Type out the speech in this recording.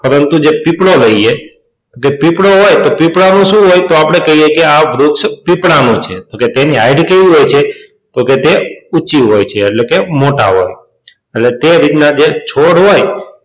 પરંતુ જે પીપળો લઈએ તો જે પીપળો હોય તો પીપળાનું શું હોય તો આપણે કહીએ કે આ વૃક્ષ પીપળાનું છે તો કે તેની height કેવી હોય છે તો કે ઊંચી હોય છે એટલે કે મોટા હોય એટલે તે રીતના જે છોડ હોય,